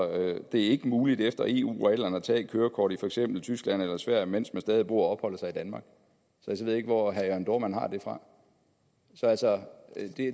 ikke muligt efter eu reglerne at tage et kørekort i for eksempel tyskland eller sverige mens man stadig bor og opholder sig i danmark så jeg ved ikke hvor herre jørn dohrmann har det fra så altså